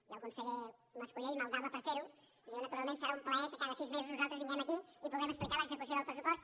i el conseller mas·colell maldava per fer·ho i diu naturalment serà un plaer que cada sis mesos nosaltres vinguem aquí i puguem explicar l’execució del pressupost